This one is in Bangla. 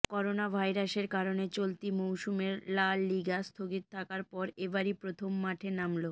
করোনা ভাইরাসের কারণে চলতি মৌসুমের লা লিগা স্থগিত থাকার পর এবারই প্রথম মাঠে নামলো